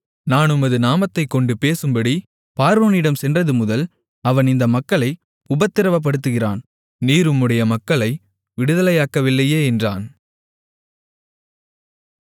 நான் உமது நாமத்தைக்கொண்டு பேசும்படி பார்வோனிடம் சென்றதுமுதல் அவன் இந்த மக்களை உபத்திரவப்படுத்துகிறான் நீர் உம்முடைய மக்களை விடுதலையாக்கவில்லையே என்றான்